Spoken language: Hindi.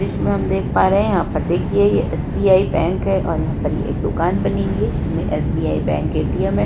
दृश्य में हम देख पा रहे हैं। यहाँ पर देखिए ये एस.बी.आई बैंक है और यहाँ पर ये एक दुकान बनी हुई है। जिसमें एस.बी.आई बैंक ए.टी.एम है।